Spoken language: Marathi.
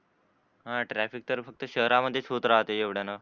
हा traffic तर फक्त शहरामध्ये च होत राहते एवढ्यान